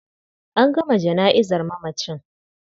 An gama jana'izar mamacin.